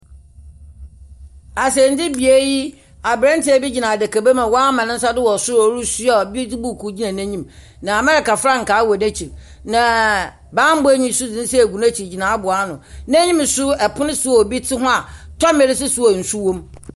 Asɛndibea yi, aberantsɛ bi gyina adakaba mu a ɔama ne nsa do wɔ sor a ɔre bi dze buuku gyina n'enyim. Na America frankaa wɔ n'ekyir. Naaa bambɔnyi nso dze ne nsa egu n'ekyir gyina abow ano. N'eyim no nso pon . Bi te hɔ a tomber si do a nsu wɔ mu.